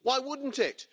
Why wouldn't it?